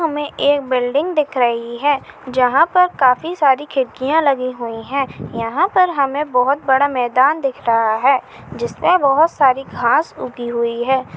हमें एक बिल्डिंग दिख रही है जहां पर काफी सारी खिड़किया लगी हुई है यहाँ पर हमें बहुत बड़ा मैदान दिख रहा है जिसमे बहुत सारी घास उगी हुई है।